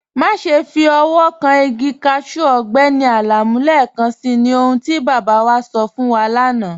Máṣẹ́ fi ọwọ̀ kàn igi káṣù Ọgbẹ́ni Alamu lẹ́ẹ̀kànṣí, ní ọ̀hun tí baba wa sọ̀ fún wà lána.